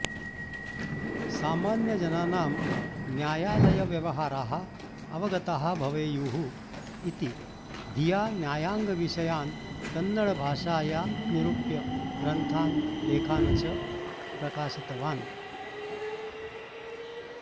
सामान्यजनानां न्यायालयव्यवहाराः अवगताः भवेयुः इति धिया न्यायाङ्गविषयान् कन्नडभाषाया निरूप्य ग्रन्थान् लेखान् च प्रकाशितवान्